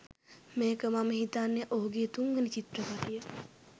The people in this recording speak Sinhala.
මේක මම හිතන්නේ ඔහුගේ තුන් වැනි චිත්‍රපටිය